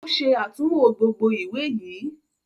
O ṣe atunwo gbógbó ìwé yí.